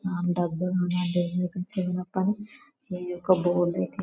సింహం పని ఏదో ఒక బోను--